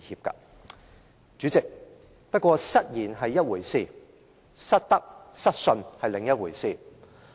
代理主席，不過，失言是一回事，失德、失信是另一回事。